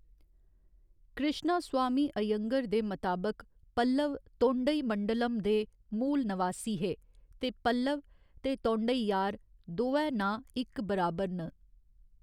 कृश्णास्वामी अयंगर दे मताबक, पल्लव तोंडईमंडलम दे मूल नवासी हे ते पल्लव ते तोंडैयार दोऐ नांऽ इक बराबर न।